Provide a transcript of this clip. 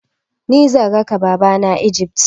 Ni zan raka Babanmu Egypt.